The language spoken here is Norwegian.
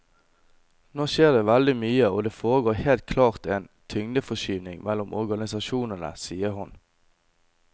Nå skjer det veldig mye og det foregår helt klart en tyngdeforskyvning mellom organisasjonene, sier hun.